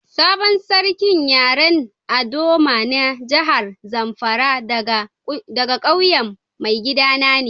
Sabon sarkin yaren ldoma na jihar Zamfara daga ƙauyen maigida na ne.